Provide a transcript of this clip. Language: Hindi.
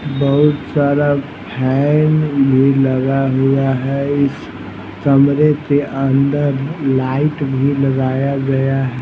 बहुत सारा फैन भी लगा हुआ है इस कमरे के अंदर लाइट भी लगाया गया है।